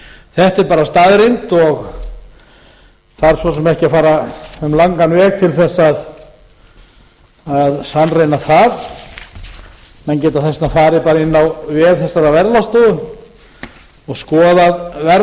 þetta er bara staðreynd og þarf svo sem ekki að fara um langan veg til að sannreyna það menn geta þess vegna farið bara inn á vef þessarar verðlagsstofu og skoðað verð þar ég gerði